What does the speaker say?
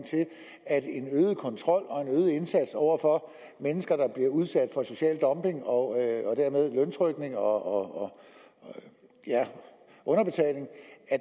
at en øget kontrol og en øget indsats over for mennesker der bliver udsat for social dumping og dermed løntrykning og underbetaling